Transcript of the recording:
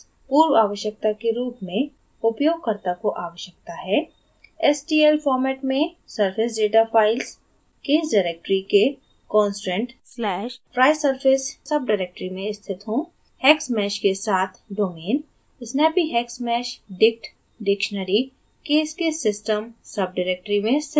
पूर्व आवश्यकता के रूप में उपयोगकर्ता को आवश्यकता है: